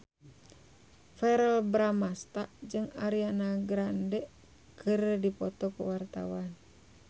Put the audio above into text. Verrell Bramastra jeung Ariana Grande keur dipoto ku wartawan